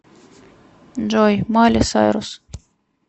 джой майли сайрус